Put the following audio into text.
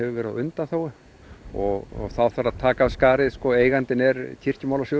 verið á undanþágu og þá þarf að taka af skarið eigandinn er